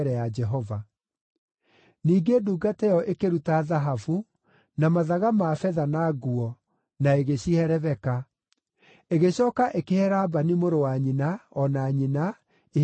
Ningĩ ndungata ĩyo ĩkĩruta thahabu, na mathaga ma betha na nguo, na ĩgĩcihe Rebeka; ĩgĩcooka ĩkĩhe Labani mũrũ wa nyina, o na nyina, iheo cia goro.